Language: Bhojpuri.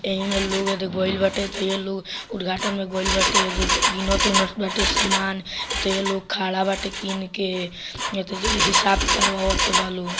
एही मे लोग है जो गइल बाटे तो ये लोग उद्घाटन मे गइल बाटे | ये जो किनत उनत बाटे सामान तो ये लोग खड़ा बाटे किन के हिसाब करवात बा लोग |